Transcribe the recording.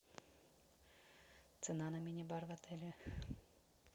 цена на мини бар в отеле